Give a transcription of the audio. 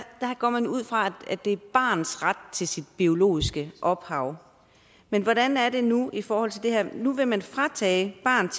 går man ud fra at det er et barns ret til sit biologiske ophav men hvordan er det nu i forhold til det her nu vil man fratage barnet